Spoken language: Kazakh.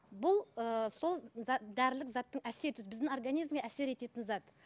бұл ыыы сол дәрілік заттың әсер біздің организмге әсер ететін зат